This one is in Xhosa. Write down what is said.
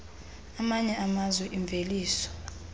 amanye amazwe imveliso